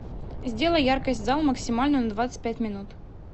сделай яркость зал максимальную на двадцать пять минут